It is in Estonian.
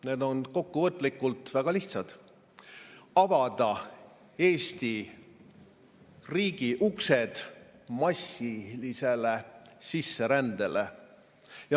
Need on kokkuvõtlikult väga lihtsad: avada Eesti riigi uksed massilisele sisserändele.